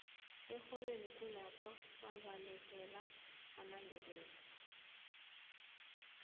erholweni kulapha kwabalekela amandebele